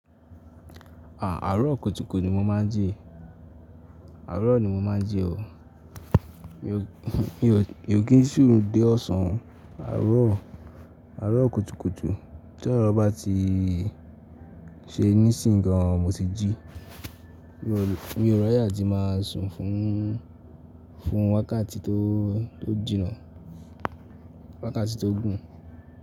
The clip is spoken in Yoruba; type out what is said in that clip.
À, àárọ̀ kọtukọtu ni mo máa ń jẹ, àárọ̀ ni mo máa ń jẹ o. Mi ò, mi ò kí n sú dé ọ̀sán. Àárọ̀, àárọ̀ kọtukọtu tí àárọ̀ bá ti ṣe nísìń kan mo ti jí. Mi ò ráye tí máa sùn fún, fún wákàtí tó, tó jìnnà, wákàtí tó gùn.